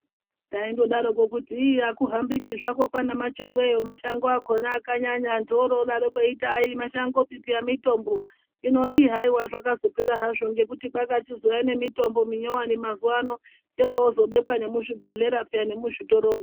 Taindodarokwo kuti ii akuhambiki zvakwo kwaana machongweyo mashango akhona akanyanya antu aro odarokwo kuti aimashangopi mitombo hino ii haiwa zvakazopera hazvo nekuti kwakachizouya nemitombo minyuwani mazuwa ano yoro zobekwa nemuzvibhedhlera peya nemuzvitoromwo.